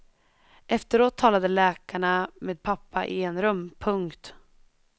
Efteråt talade läkarna med pappa i enrum. punkt